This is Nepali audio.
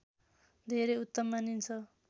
धेरै उत्तम मानिन्छ